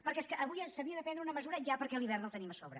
perquè és que avui s’havia de prendre una mesura ja perquè l’hivern el tenim a sobre